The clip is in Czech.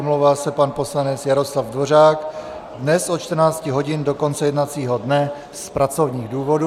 Omlouvá se pan poslanec Jaroslav Dvořák dnes od 14 hodin do konce jednacího dne z pracovních důvodů.